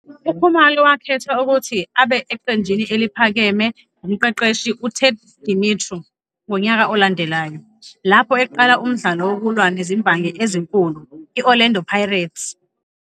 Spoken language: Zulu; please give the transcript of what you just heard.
UKhumalo wakhethwa ukuthi abe eqenjini eliphakeme ngumqeqeshi UTed Dumitru ngonyaka olandelayo, lapho eqala umdlalo wokulwa nezimbangi ezinkulu i-Orlando Pirates.